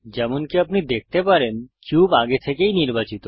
যেমনকি আপনি দেখতে পারেন কিউব আগে থেকেই নির্বাচিত